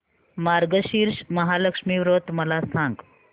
मार्गशीर्ष महालक्ष्मी व्रत मला सांग